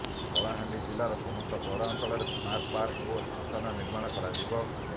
କଳାହାଣ୍ଡି ଜିଲ୍ଲାର ସମସ୍ତ ପୌରାଞ୍ଚଳରେ ସ୍ମାର୍ଟ ପାର୍କ ଓ ଶ୍ମଶାନ ନିର୍ମାଣ କରାଯିବ